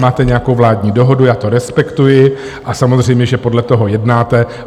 Máte nějakou vládní dohodu, já to respektuji, a samozřejmě že podle toho jednáte.